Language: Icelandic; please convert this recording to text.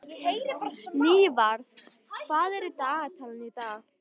Nývarð, hvað er í dagatalinu í dag?